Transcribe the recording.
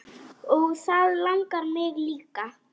Og það langar mig líka.